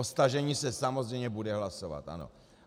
O stažení se samozřejmě bude hlasovat, ano.